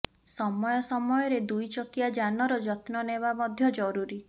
ସମୟ ସମୟରେ ଦୁଇ ଚକିଆ ଯାନର ଯତ୍ନ ନେବା ମଧ୍ୟ ଜରୁରୀ